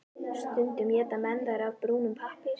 Stundum éta menn þær af brúnum pappír.